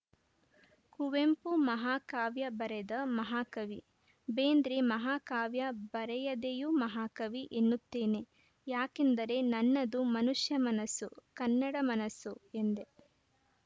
ಕುವೆಂಪು ಮಹಾಕಾವ್ಯ ಬರೆದ ಮಹಾಕವಿ ಬೇಂದ್ರೆ ಮಹಾಕಾವ್ಯ ಬರೆಯದೆಯೂ ಮಹಾಕವಿ ಎನ್ನುತ್ತೇನೆ ಯಾಕೆಂದರೆ ನನ್ನದು ಮನುಷ್ಯ ಮನಸ್ಸು ಕನ್ನಡ ಮನಸ್ಸು ಎಂದೆ